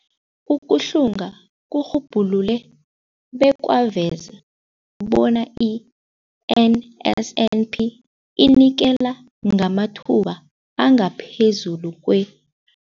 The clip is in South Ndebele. Ukuhlunga kurhubhulule bekwaveza bona i-NSNP inikela ngamathuba angaphezulu kwe-